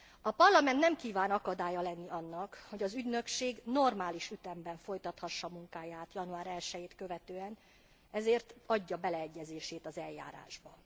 A Parlament nem kíván akadálya lenni annak, hogy az ügynökség normális ütemben folytathassa munkáját január 1 jét követően, ezért adja beleegyezését az eljárásba.